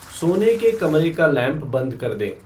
सोने के कमरे का लैंप बंद कर दें